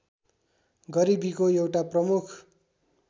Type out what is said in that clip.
गरिबीको एउटा प्रमुख